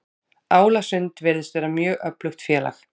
Álasund virðist vera mjög öflugt félag.